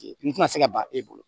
N tɛna se ka ban e bolo